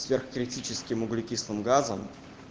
сверхкритический углекислым газом